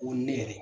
Ko ne yɛrɛ